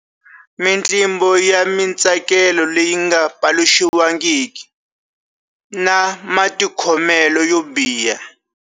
Mitlimbo ya mitsakelo leyi nga paluxiwangiki, na Matikhomelo yo biha.